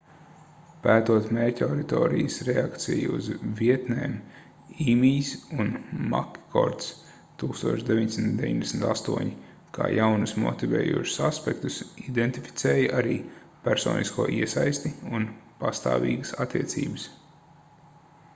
pētot mērķauditorijas reakciju uz vietnēm īmijs un makkords 1998 kā jaunus motivējošus aspektus identificēja arī personisko iesaisti” un pastāvīgas attiecības